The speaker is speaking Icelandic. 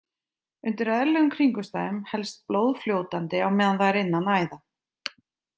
Undir eðlilegum kringumstæðum helst blóð fljótandi á meðan það er innan æða.